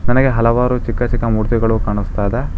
ನನಗೆ ಹಲವಾರು ಚಿಕ್ಕ ಚಿಕ್ಕ ಮೂರ್ತಿಗಳು ಕಾಣುಸ್ತಾ ಇದೆ.